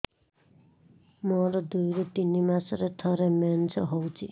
ମୋର ଦୁଇରୁ ତିନି ମାସରେ ଥରେ ମେନ୍ସ ହଉଚି